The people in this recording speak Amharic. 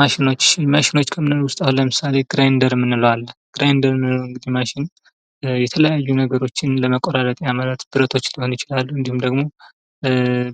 ማሽኖች:- ማሽኖች ከምንላቸዉ ዉስጥ አሁን ለምሳሌ ግራይንደር የምንለዉ አለ። ግራይንደር የምንለዉ ማሽን የተለያዩ ነገሮችን ለመቆራረጥ ብረቶች ሊሆን ይችላል። እንዲሁም ደግሞ